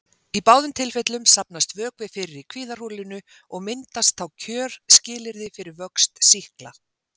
Í báðum tilfellum safnast vökvi fyrir í kviðarholinu og myndast þá kjörskilyrði fyrir vöxt sýkla.